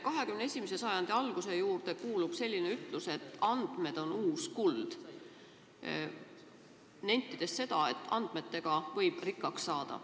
21. sajandi alguse juurde kuulub selline ütlus, et andmed on uus kuld, sellega nenditakse, et andmetega võib rikkaks saada.